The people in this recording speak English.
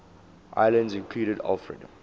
islands included alfred